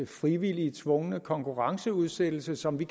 frivillige tvungne konkurrenceudsættelse som vi